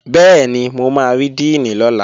Bẹ́ẹ̀ni, mo máa rí díìnì lọ́la